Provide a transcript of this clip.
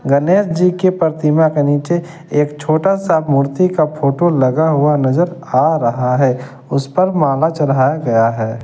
गनेश जी की परतिमा के नीचे एक छोटा सा मूर्ति का फोटो लगा हुआ नजर आ रहा है उस पर माला चढ़ाया गया है।